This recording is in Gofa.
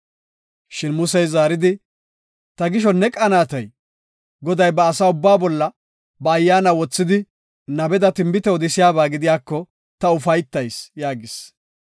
Shin Musey zaaridi, “Ta gisho ne qanaatay? Goday ba asa ubbaa bolla ba ayyaana wothidi nabeda tinbite odisiyaba gidiyako ta ufaytayis” yaagis.